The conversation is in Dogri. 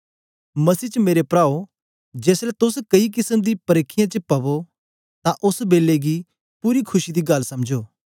मसीह च मेरे प्राओं जेसलें तोस कई केसम दी परिखीयें च पवो तां ओस बेलै गी पूरी खुशी दी गल्ल समझो